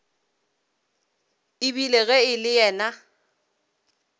ebile ge e le yena